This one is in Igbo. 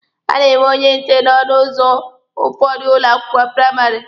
A na-enwe onye nche n'ọnụ ụzọ ụfọdụ ụlọ akwụkwọ praịmarị.